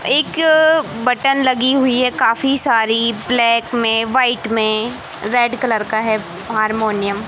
एक बटन लगी हुई है काफी सारी ब्लैक में व्हाईट में रेड कलर का है हारमोनियम --